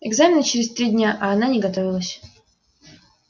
экзамены через три дня а она не готовилась